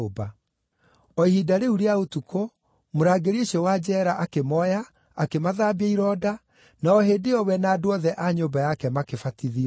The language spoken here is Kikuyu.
O ihinda rĩu rĩa ũtukũ, mũrangĩri ũcio wa njeera akĩmooya, akĩmathambia ironda, na o hĩndĩ ĩyo we na andũ othe a nyũmba yake makĩbatithio.